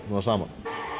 saman